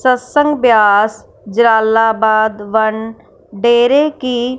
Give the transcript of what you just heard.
सत्संग ब्यास जलालाबाद वन डेरे की--